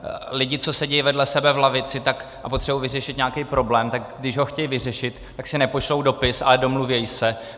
Lidi, co sedí vedle sebe v lavici a potřebují vyřešit nějaký problém, tak když ho chtějí vyřešit, tak si nepošlou dopis, ale domluví se.